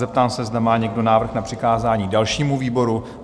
Zeptám se, zda má někdo návrh na přikázání dalšímu výboru?